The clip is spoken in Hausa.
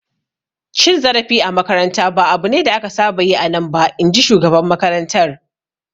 Cin zarafi a makaranta ba abu ne da aka saba yi a nan ba, in ji shugaban makarantar.